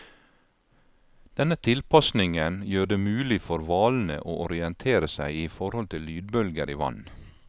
Denne tilpasningen gjør det mulig for hvalene å orientere seg i forhold til lydbølger i vann.